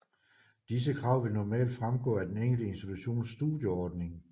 Disse krav vil normalt fremgå af den enkelte institutions studieordning